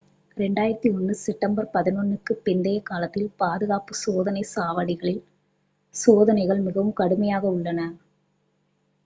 2001 September 11க்குப் பிந்தைய காலத்தில் பாதுகாப்பு சோதனைச் சாவடிகளில் சோதனைகள் மிகவும் கடுமையாக உள்ளன